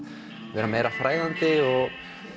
vera meira fræðandi og